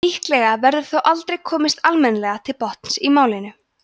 líklega verður þó aldrei komist almennilega til botns í málinu